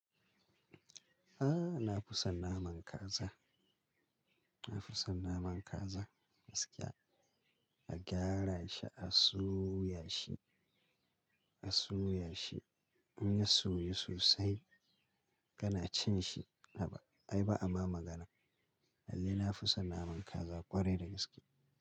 Ah na fi snn naman kaza, na fi son naman kaza gaskiya. A gyara shi, a soya shi, a soya shi. In ya soyu sosai kana cin shi. Haba ai ba a ma magana. Lallai na fi sonn naman kaza ƙwarai da gaske.